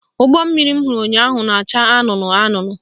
Ụgbọmmiri m hụrụ ụnyaahụ na-acha anụnụ anụnụ